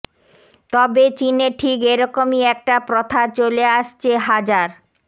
তবে চিনে ঠিক এরকমই একটা প্রথা চলে আসছে হাজার